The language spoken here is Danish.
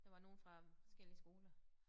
Der var nogle fra forskellige skoler